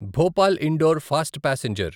Bhopal Indore fast passenger